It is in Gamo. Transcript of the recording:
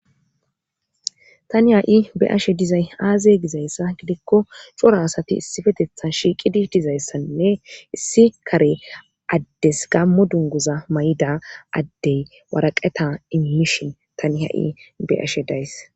Tani ha'i beashe dizay aaze gizayssa gidikko cora asati issifetetha shiiqidi dizayssanne issi kare addes gammo dunguza may'da addey waraqeta immishin tani ha'i be ashe days.